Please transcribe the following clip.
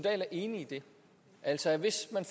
er enig i det altså at hvis man